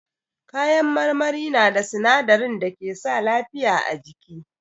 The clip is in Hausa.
Kayan marmari na da sinadarin da ke sa lafiya a jiki.